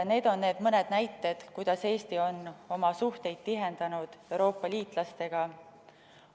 Need on mõned näited, kuidas Eesti on oma suhteid tihendanud Euroopa liitlastega.